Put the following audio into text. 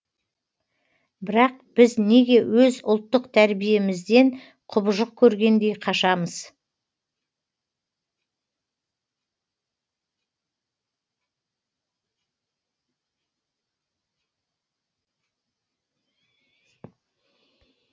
бірақ біз неге өз ұлттық тәрбиемізден құбыжық көргендей қашамыз